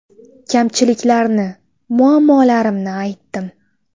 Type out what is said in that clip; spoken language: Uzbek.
Kamchiliklarni, muammolarimni aytdim.